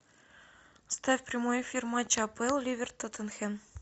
ставь прямой эфир матча апл ливер тоттенхэм